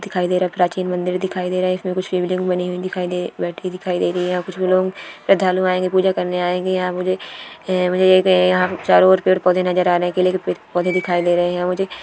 दिखाई दे रहा प्राचीन मंदिर दिखाई दे रहे है इसमें कुछ शिवलिंग बनी हुई दिखाई दे बैटरी दिखाई दे रही है कुछ भी लोग श्रद्धालु आएंगे पूजा करने आएंगे ईहा मुझे ए मुझे एक इहा चारों और पेड़ पौधे नजर आ रहे हे केले कि पेड़ पौधे दिखाई दे रहें हैं मुझे--